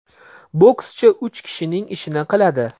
Bokschi uch kishining ishini qiladi.